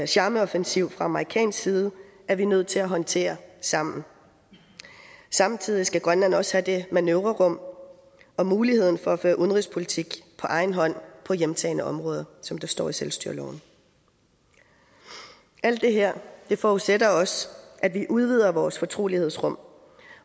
charmeoffensiv fra amerikansk side er vi nødt til at håndtere sammen samtidig skal grønland også have manøvrerum og muligheden for at føre udenrigspolitik på egen hånd på hjemtagne områder som der står i selvstyreloven alt det her forudsætter også at vi udvider vores fortrolighedsrum